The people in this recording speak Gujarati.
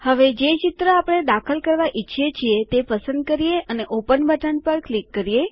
હવે જે ચિત્ર આપણે દાખલ કરવા ઈચ્છીએ છીએ તે પસંદ કરીએ અને ઓપન બટન પર ક્લિક કરીએ